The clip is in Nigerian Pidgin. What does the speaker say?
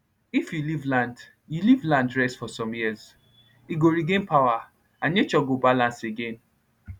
if you leave land you leave land rest for some years e go regain power and nature go balance again